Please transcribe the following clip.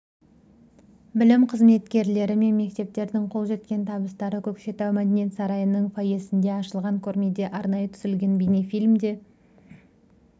білім қызметкерлері мен мектептердің қол жеткен табыстары көкшетау мәдениет сарайының фойесінде ашылған көрмеде арнайы түсірілген бейнефильмде